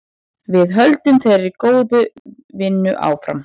Við höldum þeirri góðu vinnu áfram.